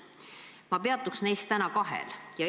Ma peatuks täna kahel neist.